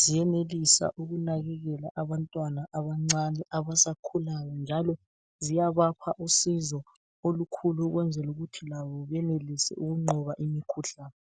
ziyayenelisa ukunakekela abantwana abancane abasakhulayo. Njalo ziyabapha usizo olukhulu ukwenzela ukuthi labo benelise ukuqoba imikhuhlane.